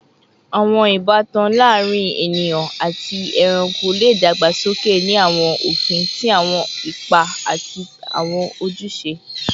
Awọn ibatan laarin eniyan ati ẹranko le dagbasoke ni awọn ofin ti awọn ipa ati awọn ojuse